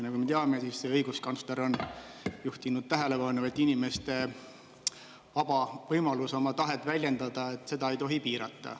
Nagu me teame, siis õiguskantsler on juhtinud tähelepanu, et inimeste vaba võimalus oma tahet väljendada, seda ei tohi piirata.